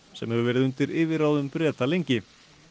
sem hefur verið undir yfirráðum Breta lengi